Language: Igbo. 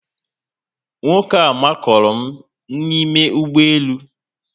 Nwoke a makụrụ m n'ime ụgbọélú